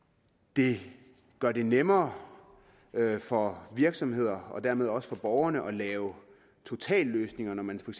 det gør det nemmere for virksomheder og dermed også for borgere at lave totalløsninger når man for